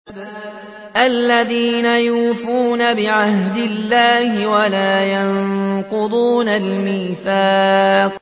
الَّذِينَ يُوفُونَ بِعَهْدِ اللَّهِ وَلَا يَنقُضُونَ الْمِيثَاقَ